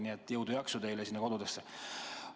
Nii et jõudu ja jaksu teile sinna kodudesse!